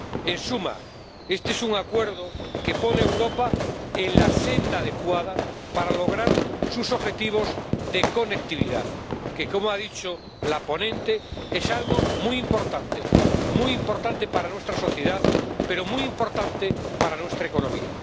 En suma, este es un acuerdo que pone a Europa en la senda adecuada para lograr sus objetivos de conectividad, que, como ha dicho la ponente, es algo muy importante, muy importante para nuestra sociedad, pero muy importante para nuestra economía.